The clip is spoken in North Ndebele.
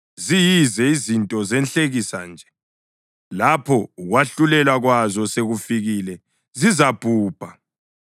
Ziyize, izinto zenhlekisa nje; lapho ukwahlulelwa kwazo sekufikile, zizabhubha.